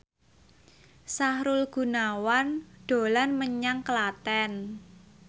Sahrul Gunawan dolan menyang Klaten